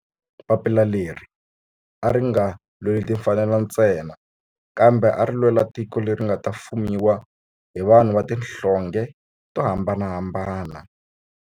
Papila leri a ri nga lweli timfanelo ntsena kambe ari lwela tiko leri nga ta fumiwa hi vanhu va tihlonge to hambanahambana.